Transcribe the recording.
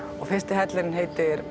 fyrsti hellirinn heitir